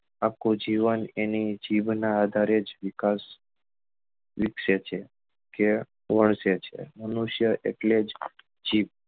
આખું જીવન એની જીભ નાં આધારે જ વિકાસ વિકસે છે કે વરસે છે મનુષ્ય એટલે જ જીભ